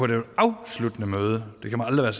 det afsluttende møde det kan man aldrig